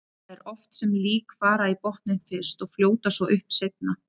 Það er oft sem lík fara í botninn fyrst og fljóta svo upp seinna.